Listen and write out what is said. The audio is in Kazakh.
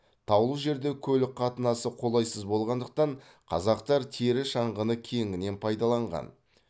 таулы жерде көлік қатынасы қолайсыз болғандықтан қазақтар тері шаңғыны кеңінен пайдаланған